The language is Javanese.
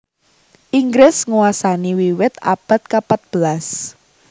Inggris nguasani wiwit abad kapatbelas